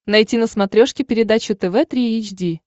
найти на смотрешке передачу тв три эйч ди